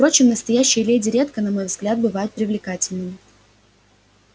впрочем настоящие леди редко на мой взгляд бывают привлекательными